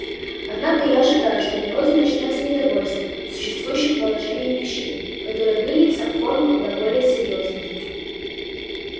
однако я ожидаю что в народе начнётся недовольство существующим положением вещей которое выльется в формы куда более серьёзные